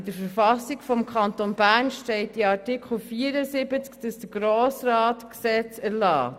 In der Verfassung des Kantons Bern steht in Artikel 74, dass der Grosse Rat die Gesetzte erlässt.